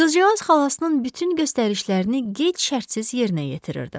Qızcığaz xalasının bütün göstərişlərini gec şərtsiz yerinə yetirirdi.